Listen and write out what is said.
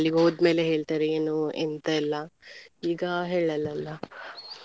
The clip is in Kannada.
ಅಲ್ಲಿಗೆ ಹೋದ್ಮೇಲೆ ಹೇಳ್ತಾರೆ ಏನು ಎಂತ ಎಲ್ಲ ಈಗ ಹೇಳಲ್ಲ ಅಲ್ಲ.